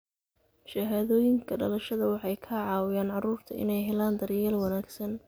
Shahaadooyinka dhalashada waxay ka caawiyaan carruurta inay helaan daryeel wanaagsan.